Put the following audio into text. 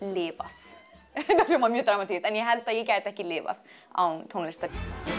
lifað þetta hljómar mjög dramatískt en ég held að ég gæti ekki lifað án tónlistar